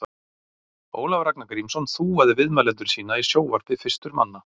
Ólafur Ragnar Grímsson þúaði viðmælendur sína í sjónvarpi fyrstur manna.